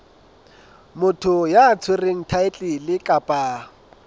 motho ya tshwereng thaetlele kapa